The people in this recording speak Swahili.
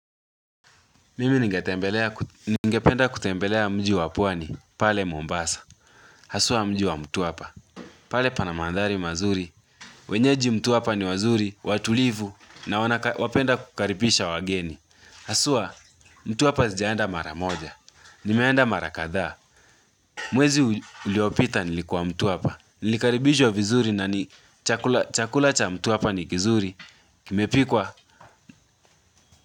Mimi ningependa kutembelea mji wa pwani, pale Mombasa, hasua mji wa mtuapa, pale pana mandhari mazuri, wenyeji mtuapa ni wazuri, watulivu, na wapenda kukaripisha wageni, hasua mtuapa zijaenda maramoja, nimeanda mara kadhaa, mwezi uliopita nilikuwa mtuapa, nilikaribishwa vizuri na ni chakula cha mtuapa ni kizuri, kimepikwa.